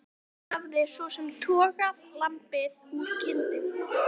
Hún hafði svo sem togað lambið úr kindinni.